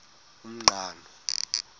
umqhano